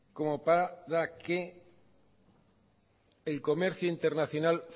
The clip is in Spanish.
como para que el comercio internacional